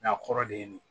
Nka kɔrɔ de ye nin